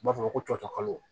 U b'a fɔ ma ko cɔcɔ kalo